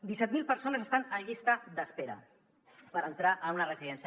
disset mil persones estan en llista d’espera per entrar en una residència